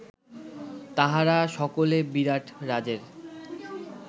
তাঁহারা সকলে বিরাটরাজের